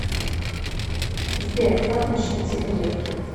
сбер как насчет сигаретки